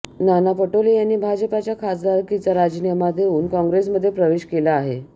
नाना पटोले यांनी भाजपच्या खासदारकीचा राजीनामा देऊन काँग्रेसमध्ये प्रवेश केला आहे